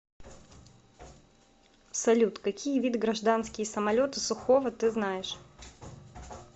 салют какие виды гражданские самолеты сухого ты знаешь